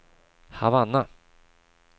Havanna